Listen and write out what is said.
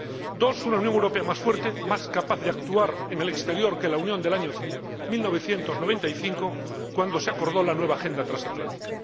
La segunda, una Unión Europea más fuerte, más capaz de actuar en el exterior que la Unión del año 1995, cuando se acordó la nueva agenda transatlántica